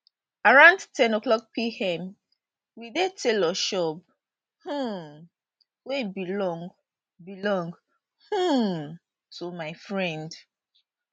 around ten o'clock pm we dey tailor shop um wey belong belong um to my friend